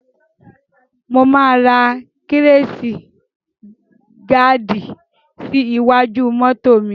Mo máa ra kíráṣì gaàdì sí iwájú mọ́to mi.